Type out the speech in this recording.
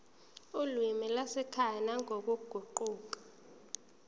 olimini lwasekhaya nangokuguquka